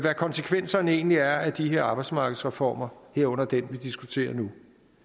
konsekvenserne egentlig er af de her arbejdsmarkedsreformer herunder den vi diskuterer nu